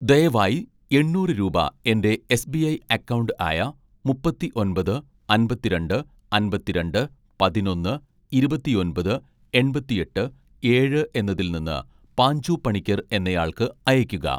ദയവായി എണ്ണൂറ് രൂപ എൻ്റെ എസ്.ബി.ഐ അക്കൗണ്ട് ആയ മുപ്പത്തിഒന്‍പത് അമ്പത്തിരണ്ട് അമ്പത്തിരണ്ട് പതിനൊന്ന്‌ ഇരുപത്തിഒന്‍പത് എണ്‍പത്തിഎട്ട് ഏഴ്‌ എന്നതിൽ നിന്ന് പാഞ്ചു പണിക്കർ എന്നയാൾക്ക് അയക്കുക